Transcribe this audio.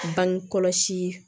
Bangekɔlɔsi